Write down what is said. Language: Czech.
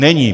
Není!